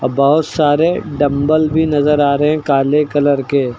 बहोत सारे डंबल भी नजर आ रहे हैं काले कलर के।